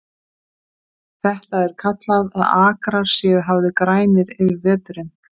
Þetta er kallað að akrar séu hafðir grænir yfir veturinn.